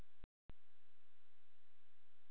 Ég hef alltaf haft gaman af þeirri hlið starfsins.